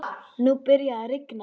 Nú byrjaði að rigna.